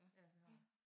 Ja det var ham